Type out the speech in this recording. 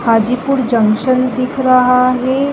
Hajipur junction दिख रहा है।